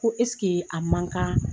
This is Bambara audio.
Ko eskee a man kan